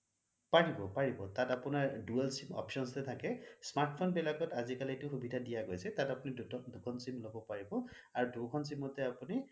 পাৰিব পাৰিব তাত আপোনাৰ dual sim options যে থাকে smart phone বিলাকত আজিকালি এইটো সুবিধা দিয়া গৈছে তাত আপুনি দুখন sim লগাব পাৰিব আৰু দুখন sim অটে আপুনি